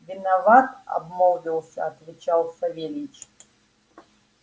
виноват обмолвился отвечал савельич